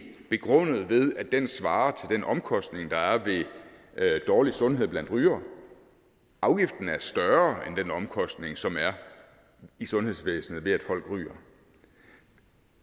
begrundet ved at den svarer til den omkostning der er ved dårlig sundhed blandt rygere afgiften er større end den omkostning som er i sundhedsvæsenet ved at folk ryger